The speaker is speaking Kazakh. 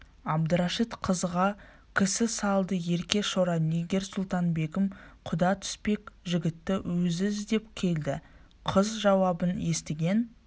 әбдірашит қызға кісі салды ерке шора нигер-сұлтан-бегім құда түспек жігітті өзі іздеп келді қыз жауабын естіген